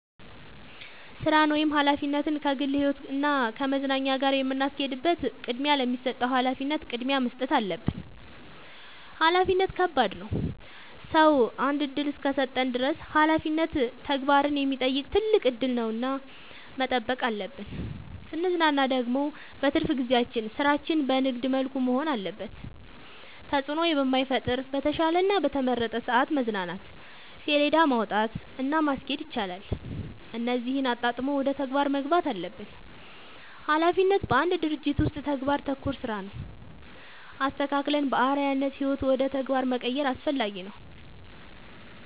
ስራን ወይም ሀላፊነትን ከግል ህይወት እና ከመዝናኛ ጋር የምናስኬድበት ቅድሚያ ለሚሰጠው ሀላፊነት ቅድሚያ መስጠት አለብን። ሀላፊነት ከባድ ነው ሰው አንድ እድል እስከሰጠን ድረስ ሀላፊነት ተግባርን የሚጠይቅ ትልቅ እድል ነው እና መጠበቅ አለብን። ስንዝናና ደግሞ በትርፍ ጊዜያችን ስራችን በንግድ መልኩ መሆን አለበት ተጽዕኖ በማይፈጥር በተሻለ እና በተመረጠ ሰዐት መዝናናት ሴለዳ ማውጣት እና ማስኬድ ይቻላል እነዚህን አጣጥሞ ወደ ተግባር መግባት አለብን። ሀላፊነት በአንድ ድርጅት ውስጥ ተግባር ተኮር ስራ ነው። አስተካክለን በአርዐያነት ህይወት ውደ ተግባር መቀየር አስፈላጊ ነው።